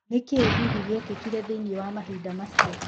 Nĩkĩĩ hihi gĩekĩkire thĩiniĩ wa mahinda macio?